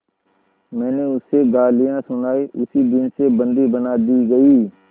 मैंने उसे गालियाँ सुनाई उसी दिन से बंदी बना दी गई